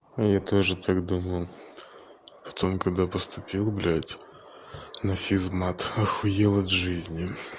я тоже так думал потом когда поступил блядь на физмат ахуел от жизни